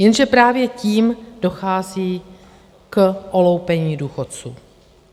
Jenže právě tím dochází k oloupení důchodců.